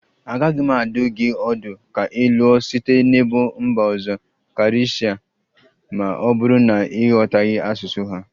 Agaghị m adụ gị ọdụ ka ị lụọ site n'ebo mba ọzọ karịsịa ma ọ bụrụ na ị ghọtaghị asụsụ ha